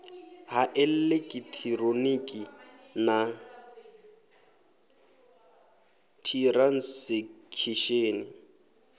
ha eḽekiṱhironiki na t hiransekisheni